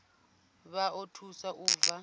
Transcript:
vha o thusa u bva